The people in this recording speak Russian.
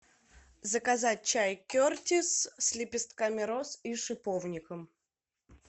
заказать чай кертис с лепестками роз и шиповником